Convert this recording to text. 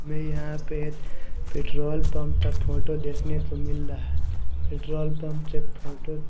मैं यहां पे एक पेट्रोल पंप का फोटो देखने को मिल रहा है पेट्रोल पंप के फोटो --